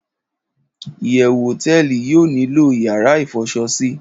iyewu hoteeli yio nilo yara ifoso si